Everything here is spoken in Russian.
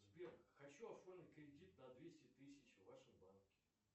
сбер хочу оформить кредит на двести тысяч в вашем банке